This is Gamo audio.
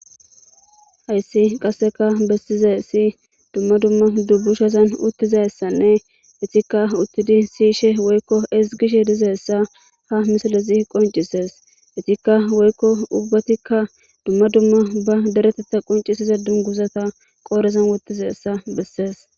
Hayissi qasekka besizayissi dumma dumma dumma dubushshatanni uttizayissanne etikka uttidi siyishshe woyikko ezzigishshe dizayissa haa misilezzi qonccises.ettikka woyikko ubbatikka dumma dumma baa dereteththa qonccisiza duniguzzata qodhdhezanni wotizayissa besses.